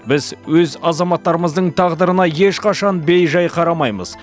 біз өз азаматтарымыздың тағдырына ешқашан бей жай қарамаймыз